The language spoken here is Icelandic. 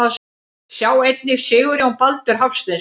Sjá einnig Sigurjón Baldur Hafsteinsson.